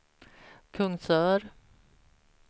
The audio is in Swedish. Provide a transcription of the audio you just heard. Kungsör